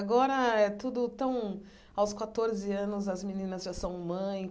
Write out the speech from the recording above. Agora é tudo tão... Aos catorze anos, as meninas já são mãe.